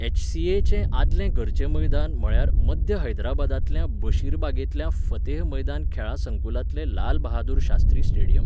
एच.सी.ए.चें आदलें घरचें मैदान म्हळ्यार मध्य हैदराबादांतल्या बशीरबागेंतल्या फतेह मैदान खेळा संकुलांतलें लालबहादूर शास्त्री स्टेडियम.